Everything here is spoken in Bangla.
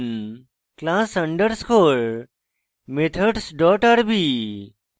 এর name din class underscore methods dot rb